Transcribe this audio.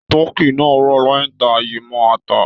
Tọkí náà rọ̀ lẹ́yìn ta yi mọ́ ata.